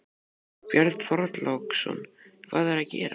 Björn Þorláksson: Hvað er að gerast?